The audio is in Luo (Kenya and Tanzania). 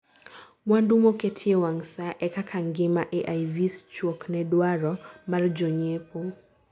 mwandu moketie wang' saa: ee kaka ngima AIVs chuok ne dwaro mar jo nyiepo